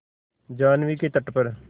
जाह्नवी के तट पर